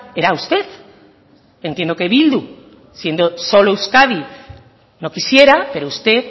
era usted entiendo que bildu siendo solo euskadi no quisiera pero usted